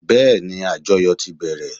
Bẹ́ẹ́ni, àjọyò ti bẹ̀rẹ̀.